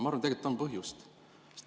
Ma arvan, et tegelikult on põhjust.